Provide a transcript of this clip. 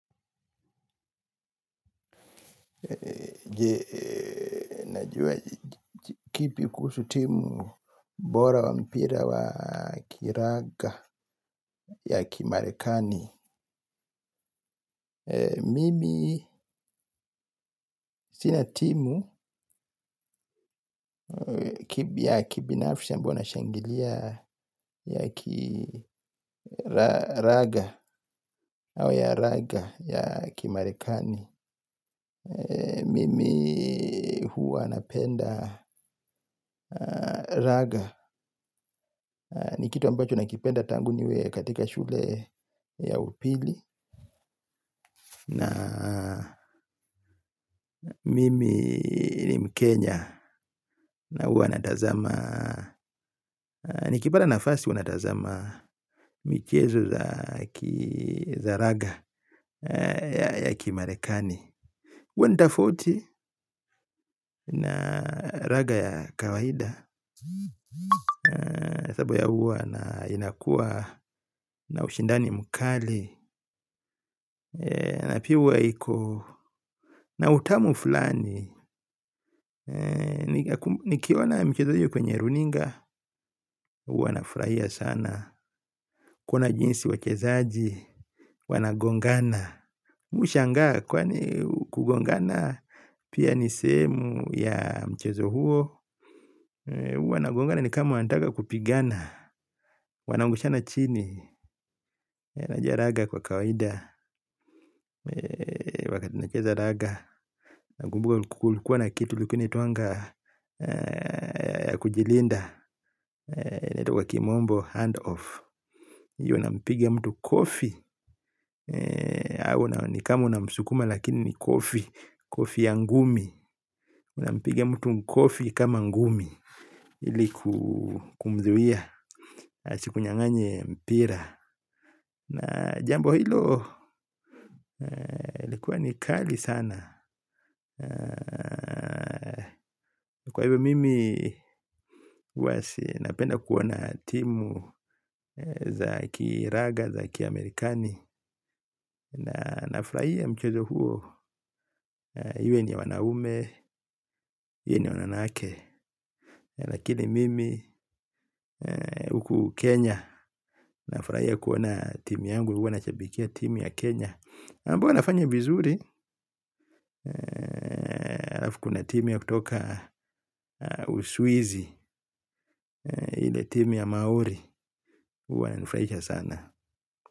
Najua kipi kuusu timu bora wa mpira wa kiraga ya kimarekani. Mimi sina timu ya kipinafisha ambayo nashangilia ya kiraga au ya raga ya kimarekani. Mimi huwa napenda raga. Ni kitu ambacho na kipenda tangu niwe katika shule ya upili. Na mimi ni mkenya na hua natazama. Nikipata nafasi uwa natazama mchichezo za raga ya kimarekani Wendafoti na raga ya kawahida. Sapo ya uwa na inakua na ushindani mkali. Na pia uwa iko. Na utamu fulani nikiona michezo hio kwenye runinga hua nafurahia sana. Kuna jinsi wachezaji Wanagongana Mwishanga kwani kugongana. Pia niseemu ya mchezo huo. Uwanagongana ni kama waantaka kupigana. Wanangushana chini. Najaraga kwa kawaida. Wakati nicheza raga nagumbuga kukulikuwa na kitu ilkua naitwanga kujilinda naitwa kwa kimombo handoff yu unampigia mtu kofi ni kama unamsukuma lakini ni kofi kofi ya ngumi unampigia mtu kofi kama ngumi iliku kumziwia asiku nyanganye mpira na jambo hilo likuwa ni kali sana kwa hivyo mimi ua sinapenda kuona timu za ki raga, za ki Amerikani na nafraia mchezo huo hiyo iwe ni ya wanaume, hiyo ni wananake lakini mimi huku Kenya nafraia kuona timi yangu, huwa nachabikia timi ya Kenya ambayo inafanya vizuri alafu kuna timu ya kutoka uswizi hile timi ya Maori, huwa nifraisha sana.